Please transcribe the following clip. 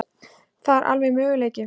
Það er alveg möguleiki.